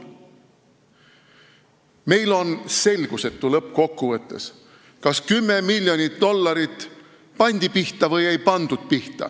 Meile on lõppkokkuvõttes selgusetu, kas 10 miljonit dollarit pandi pihta või ei pandud pihta.